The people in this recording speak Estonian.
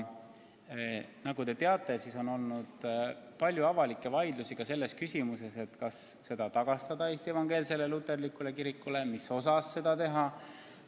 Nagu te teate, on olnud palju avalikke vaidlusi selle üle, kas see tuleks tagastada Eesti Evangeelsele Luterlikule Kirikule ja kui tuleks, siis mis osas.